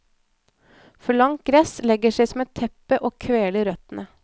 For langt gress legger seg som et teppe og kveler røttene.